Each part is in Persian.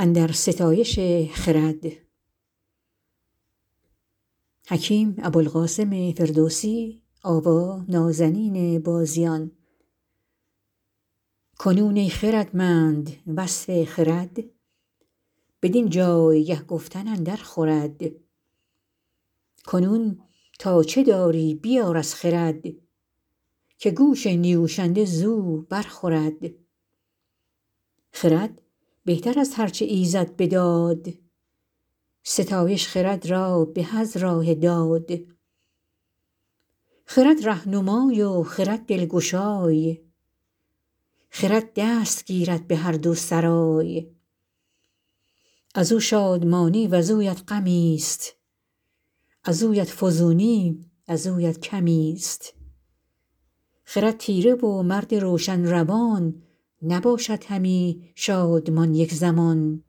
کنون ای خردمند وصف خرد بدین جایگه گفتن اندر خورد کنون تا چه داری بیار از خرد که گوش نیوشنده زو بر خورد خرد بهتر از هر چه ایزد بداد ستایش خرد را به از راه داد خرد رهنمای و خرد دلگشای خرد دست گیرد به هر دو سرای از او شادمانی وزویت غمی است وزویت فزونی وزویت کمی است خرد تیره و مرد روشن روان نباشد همی شادمان یک زمان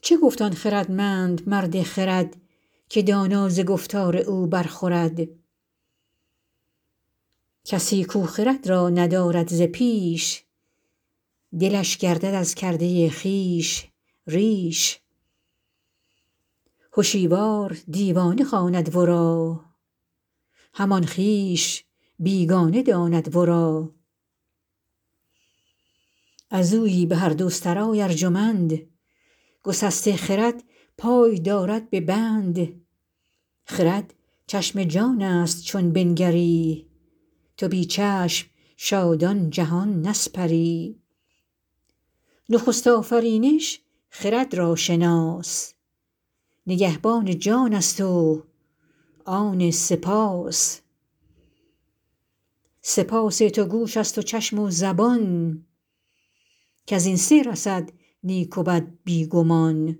چه گفت آن خردمند مرد خرد که دانا ز گفتار او بر خورد کسی کو خرد را ندارد ز پیش دلش گردد از کرده خویش ریش هشیوار دیوانه خواند ورا همان خویش بیگانه داند ورا از اویی به هر دو سرای ارجمند گسسته خرد پای دارد به بند خرد چشم جان است چون بنگری تو بی چشم شادان جهان نسپری نخست آفرینش خرد را شناس نگهبان جان است و آن سه پاس سه پاس تو چشم است و گوش و زبان کز این سه رسد نیک و بد بی گمان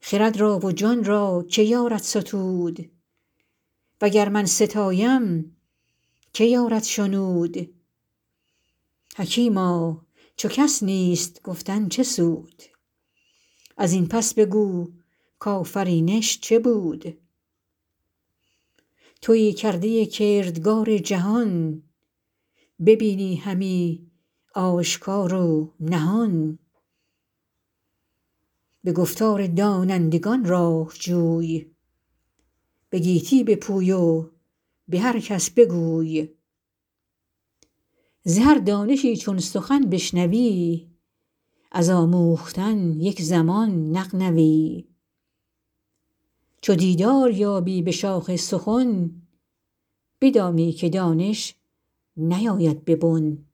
خرد را و جان را که یارد ستود و گر من ستایم که یارد شنود حکیما چو کس نیست گفتن چه سود از این پس بگو کآفرینش چه بود تویی کرده کردگار جهان ببینی همی آشکار و نهان به گفتار دانندگان راه جوی به گیتی بپوی و به هر کس بگوی ز هر دانشی چون سخن بشنوی از آموختن یک زمان نغنوی چو دیدار یابی به شاخ سخن بدانی که دانش نیاید به بن